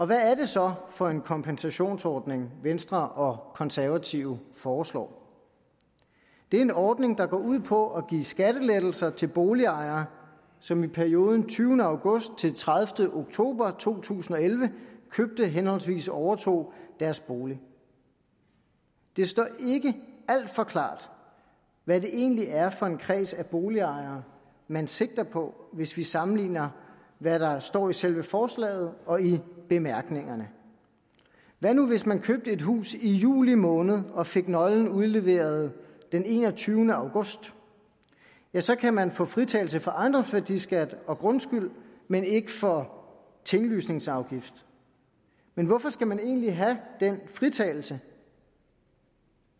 hvad er det så for en kompensationsordning venstre og konservative foreslår det er en ordning der går ud på at give skattelettelser til boligejere som i perioden tyvende august til tredivete oktober to tusind og elleve købte henholdsvis overtog deres bolig det står ikke alt for klart hvad det egentlig er for en kreds af boligejere man sigter på hvis vi sammenligner hvad der står i selve forslaget og i bemærkningerne hvad nu hvis man købte et hus i juli måned og fik nøglen udleveret den enogtyvende august så kan man få fritagelse for ejendomsværdiskat og grundskyld men ikke for tinglysningsafgift men hvorfor skal man egentlig have den fritagelse